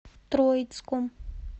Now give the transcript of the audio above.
троицком